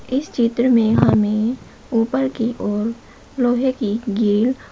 इस चित्र में हमें ऊपर की ओर लोहे की ग्रिल --